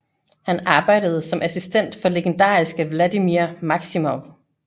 Han arbejdede som assistent for legendariske Vladimir Maksimov